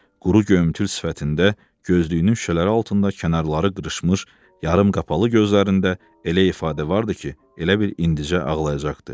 Quru göyümtül sifətində, gözlüyünün şüşələri altında kənarları qırışmış yarımqapalı gözlərində elə ifadə vardı ki, elə bil indicə ağlayacaqdı.